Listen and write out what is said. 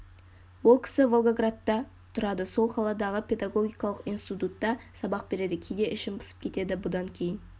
ол кісі волгаградта тұрады сол қаладағы педагогикалық институтта сабақ береді кейде ішім пысып кетеді бұдан кейін